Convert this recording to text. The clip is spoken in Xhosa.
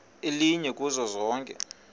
elinye kuzo zonke